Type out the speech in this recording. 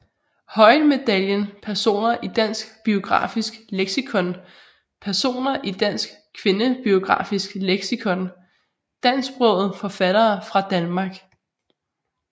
Høyen Medaljen Personer i Dansk Biografisk Leksikon Personer i Dansk Kvindebiografisk Leksikon Dansksprogede forfattere fra Danmark